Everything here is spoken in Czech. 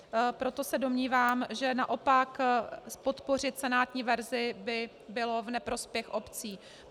Proto se domnívám, že naopak podpořit senátní verzi by bylo v neprospěch obcí.